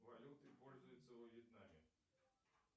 валютой пользуются во вьетнаме